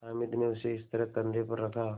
हामिद ने उसे इस तरह कंधे पर रखा